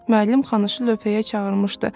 Müəllim Xanışı lövhəyə çağırmışdı.